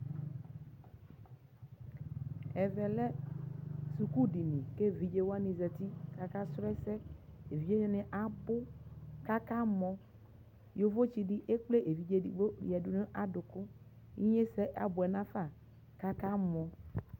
ɛvɛ lɛ sukʋʋ dili kʋ ɛvidzɛ wani zati kʋ aka srɔ ɛsɛ ɛdini abʋ kʋ aka mɔ, yɔvɔ tsi di ɛkplɛ ɛvidzɛ ɛdigbɔ yɔ yadʋ nʋ adʋkʋ, inyɛsɛ abʋɛ nʋ aƒa kʋ aka mɔ